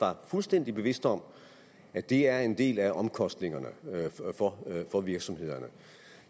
var fuldstændig bevidst om at det er en af omkostningerne for virksomhederne